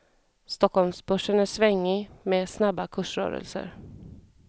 Stockholmsbörsen är svängig med snabba kursrörelser.